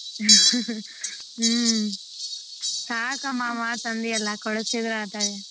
ಹ್ಮ್ ಸಾಕಮ್ಮ ಆ ಮಾತ್ ಅಂದಿಯಲ್ಲ ಕೊಡಸತಿದ್ರ .